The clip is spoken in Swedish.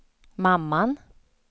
mamman